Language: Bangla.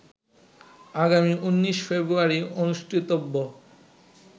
আগামী ১৯ ফেব্রুয়ারি অনুষ্ঠিতব্য